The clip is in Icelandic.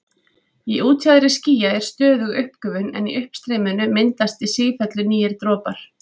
Í útjaðri skýja er stöðug uppgufun en í uppstreyminu myndast í sífellu nýir dropar.